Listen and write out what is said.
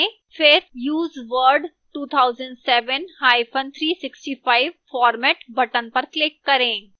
फिर use word 2007365 format button पर click करें